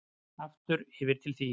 Aftur yfir til þín.